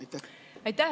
Aitäh!